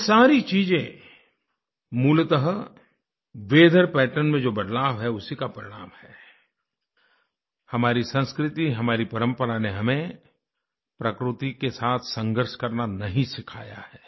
यह सारी चीज़ें मूलतः वीथर पैटर्न में जो बदलाव है उसी का परिणाम है हमारी संस्कृति हमारी परंपरा ने हमें प्रकृति के साथ संघर्ष करना नहीं सिखाया है